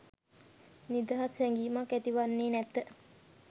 නිදහස් හැඟීමක් ඇති වන්නේ නැත.